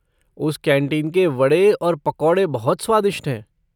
उस कैंटीन के वड़े और पकौड़े बहुत स्वादिष्ट हैं।